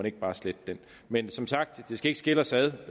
ikke bare slette det men som sagt det skal ikke skille os ad